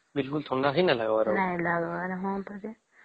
ବିଲକୁଲ ଥଣ୍ଡା ହିଁ ନାଇଁ ଲାଗିବାର ହଁ ପରା